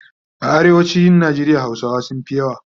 A arewacin Nigeria hausawa sunfi yawa